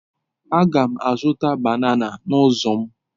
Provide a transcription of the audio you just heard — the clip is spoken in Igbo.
Aga m azụta banana n'ụzọ m.